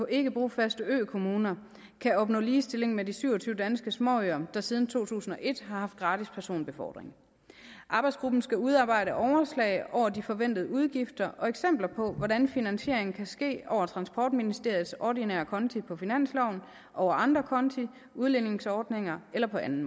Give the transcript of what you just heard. ikke brofaste økommuner kan opnå ligestilling med de syv og tyve danske småøer der siden to tusind og et har haft gratis personbefordring arbejdsgruppen skal udarbejde overslag over de forventede udgifter og eksempler på hvordan finansieringen kan ske over transportministeriets ordinære konti på finansloven over andre konti udligningsordninger eller på anden